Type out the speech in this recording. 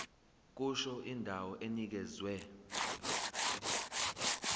kusho indawo enikezwe